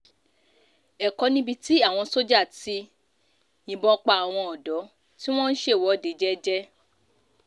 ẹ̀kọ́ níbi tí àwọn sójà ti yìnbọn pa àwọn ọ̀dọ́ tí wọ́n ń ṣèwọ́de jẹ́jẹ́